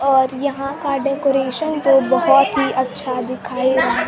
और यहां का डेकोरेशन तो बहोत ही अच्छा दिखाई दे--